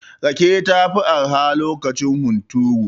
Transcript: Rake ta fi arha lokacin hunturu.